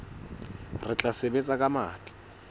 re tla sebetsa ka matla